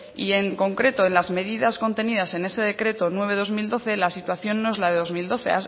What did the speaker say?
y en concreto en las medidas contenidas en ese decreto nueve barra dos mil doce la situación no es la de dos mil doce